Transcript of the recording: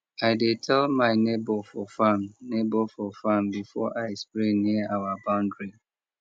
i dey tell my neighbor for farm neighbor for farm before i spray near our boundary